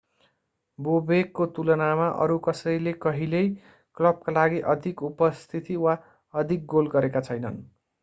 बोबेकको तुलनामा अरू कसैले कहिल्यै क्लबका लागि अधिक उपस्थिति वा अधिक गोल गरेका छैनन्